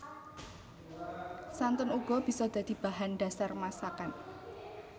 Santen uga bisa dadi bahan dhasar masakan